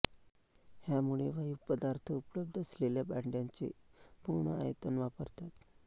ह्यामुळे वायू पदार्थ उपलब्ध असलेल्या भांड्याचे पूर्ण आयतन वापरतात